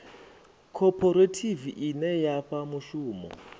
khophorethivi ine ya fha mushumo